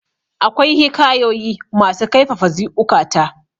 akwai hikayoyi masu kaifafa ziukata